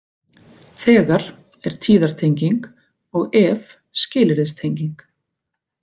Þegar er tíðartenging og ef skilyrðistenging.